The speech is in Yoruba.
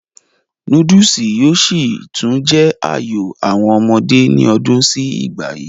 núdùsì yóò sì tún jẹ́ àyò àwọn ọmọdé ní ọdún sí ìgbà yìí